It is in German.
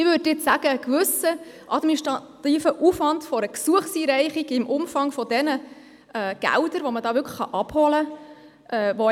Ich würde sagen, ein gewisser administrativer Aufwand, um ein Gesuch einzureichen, rechtfertigt sich in Anbetracht des Umfangs der Gelder, die man da abholen kann.